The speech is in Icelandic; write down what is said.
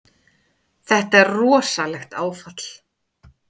Þetta er rosalegt áfall.